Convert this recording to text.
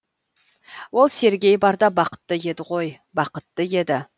ол сергей барда бақытты еді ғой бақытты еді